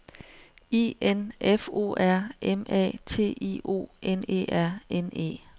I N F O R M A T I O N E R N E